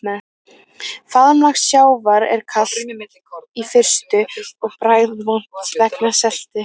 Faðmlag sjávar er kalt í fyrstu og bragðvont vegna seltu.